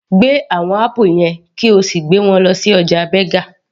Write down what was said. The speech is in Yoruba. Gbé àwọn apple yẹn kí o sì gbé wọn lọ sí ọjà Berger